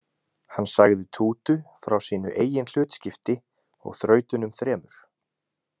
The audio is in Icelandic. Hann sagði Tútu frá sínu eigin hlutskipti og þrautunum þremur.